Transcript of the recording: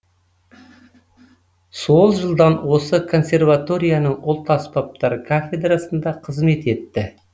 сол жылдан осы консерваторияның ұлт аспаптар кафедрасында қызмет етті